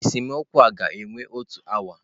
Esemokwu a ga-ewe otu awa.